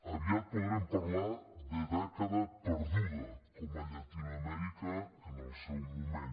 aviat podrem parlar de dècada perduda com a llatinoamèrica en el seu moment